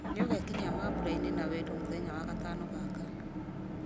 nĩũgekinyia mambura-ini na wendo mũthenya wa gatano gaka